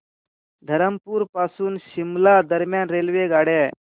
धरमपुर पासून शिमला दरम्यान रेल्वेगाड्या